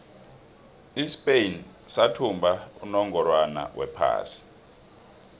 ispain sathumba unongorwond wephasi